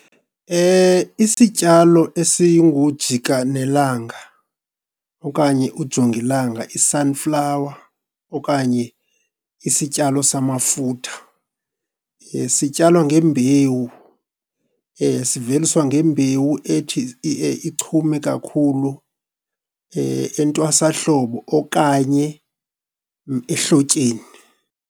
Isityalo esingujika nelanga okanye ujongilanga, i-sunflower, okanye isityalo samafutha sityalwa ngembewu. Siveliswa ngembewu ethi ichume kakhulu entwasahlobo okanye ehlotyeni.